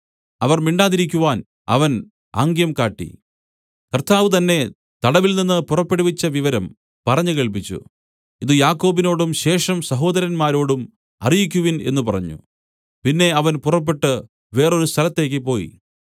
അവർ മിണ്ടാതിരിക്കുവാൻ അവൻ ആംഗ്യം കാട്ടി കർത്താവ് തന്നെ തടവിൽനിന്ന് പുറപ്പെടുവിച്ച വിവരം പറഞ്ഞു കേൾപ്പിച്ചു ഇത് യാക്കോബിനോടും ശേഷം സഹോദരന്മാരോടും അറിയിക്കുവിൻ എന്നു പറഞ്ഞു പിന്നെ അവൻ പുറപ്പെട്ട് വേറൊരു സ്ഥലത്തേയ്ക്ക് പോയി